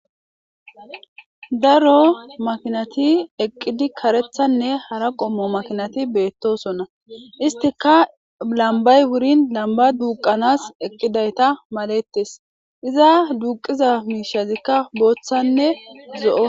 daro makinati eqqidi karethanne hara qommo makinati beettosonna istika lambay wurin lamba duuqanas eqqidayta malettes iza duuqiza miishazikka booththanne zo7o